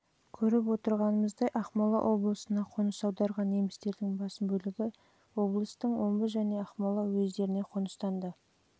көріп отырғанымыздай ақмола облысына қоныс аударған немістердің басым бөлігі облыстың омбы және ақмола уездеріне қоныстанды